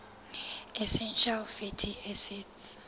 essential fatty acids